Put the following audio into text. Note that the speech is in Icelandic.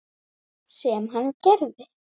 Sem hann gerir.